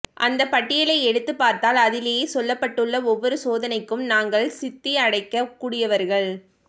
அந்தப் பட்டியலை எடுத்துப் பார்த்தால் அதிலே சொல்லப்பட்டுள்ள ஒவ்வொரு சோதனைக்கும் நாங்கள் சித்தியடையக் கூடியவர்கள்